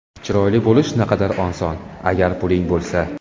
Chiroyli bo‘lish naqadar oson, agar puling bo‘lsa.